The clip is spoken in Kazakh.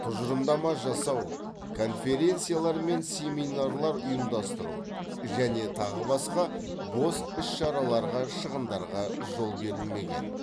тұжырымдама жасау конференциялар мен семинарлар ұйымдастыру және тағы басқа бос іс шараларға шығындарға жол берілмеген